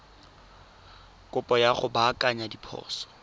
kopo ya go baakanya diphoso